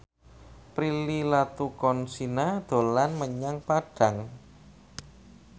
Prilly Latuconsina dolan menyang Padang